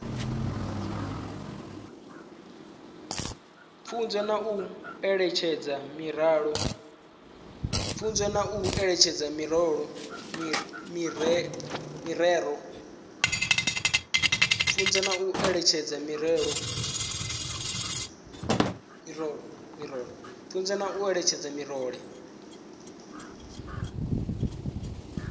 pfunzo na u eletshedza miraḓo